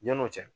Ɲani o cɛ